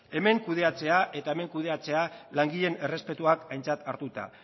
hemen kudeatzea eta hemen kudeatzea langileen errespetua aintzat hartuta